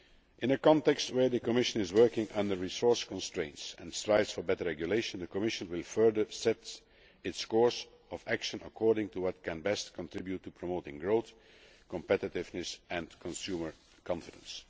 In a context where the Commission is working under resource constraints and strives for better regulation, the Commission will further set its course of action according to what can best contribute to promoting growth, competitiveness and consumer confidence.